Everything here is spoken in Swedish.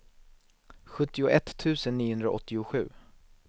sjuttioett tusen niohundraåttiosju